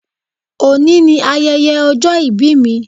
Òní ni ayẹyẹ ọjọ́ ìbí mi